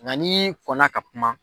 Nga n'i kɔna ka kuma